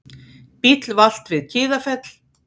Bíll valt við Kiðafell